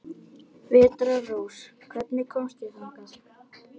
Vetrarrós, hvernig kemst ég þangað?